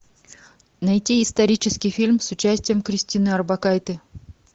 найти исторический фильм с участием кристины орбакайте